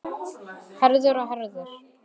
Herðir og herðir.